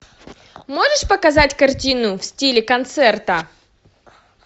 можешь показать картину в стиле концерта